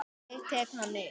Ég tek hann upp.